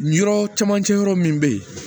Yɔrɔ camancɛ yɔrɔ min be yen